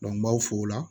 n b'aw fo o la